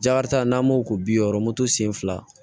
Jakarita n'an b'o ko bi wɔɔrɔ moto sen fila